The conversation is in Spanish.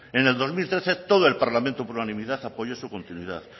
en el dos mil trece todo el parlamento por unanimidad apoyo su continuidad